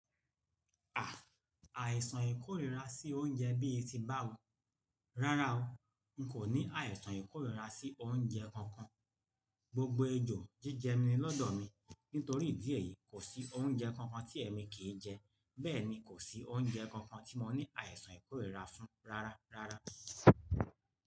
À, àìsàn ìkórìíra sí oúnjẹ bíi tí bá wo? Rárá o, n kò ní àìsàn ìkórìíra sí oúnjẹ kankan. Gbogbo ejò jíjẹ mi lọ́dọ̀ mi, nítorí díẹ̀ yìí kò sí oúnjẹ kankan tí èmi kì í jẹ, bẹ́ẹ̀ ni kò sí oúnjẹ kankan tí mo ní àìsàn ìkórìíra fún rárá, rárá.